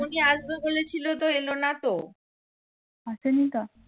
আসেনি তো